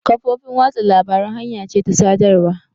Kafofin watsa labarun hanya ce ta sadarwa.